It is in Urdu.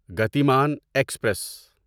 گتیمان ایکسپریس